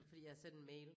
Fordi jeg har sendt en mail